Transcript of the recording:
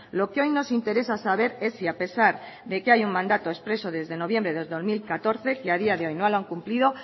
lo que hoy nos interesa saber es si a pesar de que hay un mandato expreso desde noviembre del dos mil catorce que ha día de hoy no lo han cumplido